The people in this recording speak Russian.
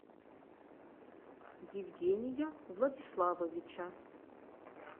евгения владиславовича